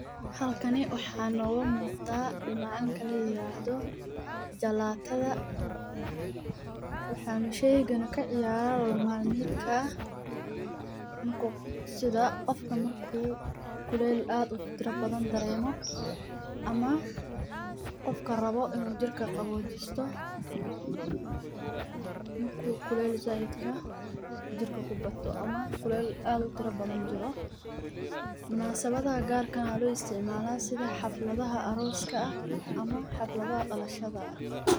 Halkani waxaa nooga muuqda macmacnka ladaha jalaata waxaa isticmaala qofka kuleel dareemo ama uu rabo inuu jirka qabojisto waxaa laga isticmaalo xafladaha dalashada ama kuwa arooska.